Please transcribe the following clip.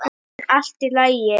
En allt í lagi.